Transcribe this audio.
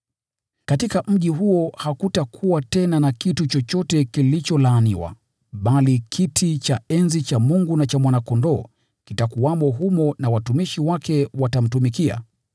Katika mji huo hakutakuwa tena na laana, bali kiti cha enzi cha Mungu na cha Mwana-Kondoo kitakuwamo humo na watumishi wake watamtumikia,